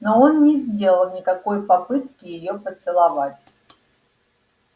но он не сделал никакой попытки её поцеловать